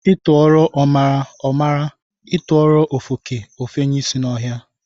A tuoro omara, o mara, a tuoro ofeke, o fenye ishi n'ohia.